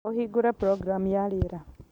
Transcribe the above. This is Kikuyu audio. ũhingũre programu ya rĩera